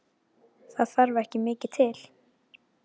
Það þarf ekki mikið til?